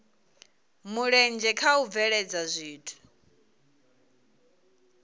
mulenzhe kha u bveledza zwithu